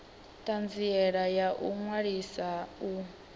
thanziela ya u ṅwalisa u